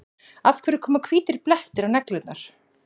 Af hverju koma hvítir blettir á neglurnar?